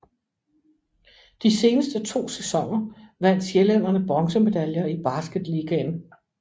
De seneste to sæsoner vandt sjællænderne bronzemedaljer i Basketligaen